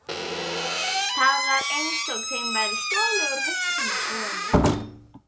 Það var einsog þeim væri stolið úr hausnum á honum.